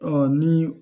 ni